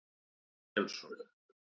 Ólafur Jensson.